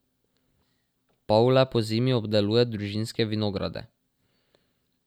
Pavle pozimi obdeluje družinske vinograde.